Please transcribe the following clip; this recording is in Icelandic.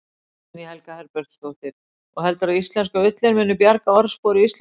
Guðný Helga Herbertsdóttir: Og heldurðu að íslenska ullin muni bjarga orðspori Íslendinga?